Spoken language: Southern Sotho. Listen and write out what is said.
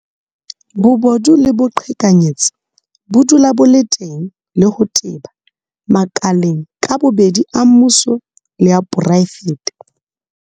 Bobodu le boqhekanyetsi bo dula bo le teng le ho teba makaleng ka bobedi a mmuso le a poraefete.